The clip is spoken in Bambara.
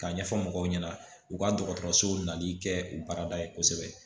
K'a ɲɛfɔ mɔgɔw ɲɛna u ka dɔgɔtɔrɔsow nali kɛ u baarada ye kosɛbɛ